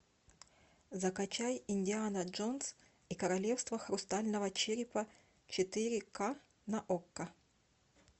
закачай индиана джонс и королевство хрустального черепа четыре ка на окко